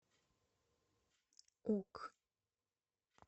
ок